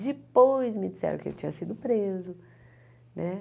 Depois me disseram que ele tinha sido preso né.